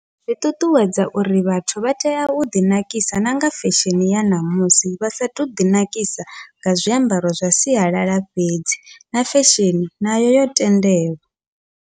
Zwi ṱuṱuwedza uri vhathu vha tea uḓi nakisa nanga fesheni ya ṋamusi, vha sa to ḓi nakisa nga zwiambaro zwa sialala fhedzi na fesheni nayo yo tendelwa.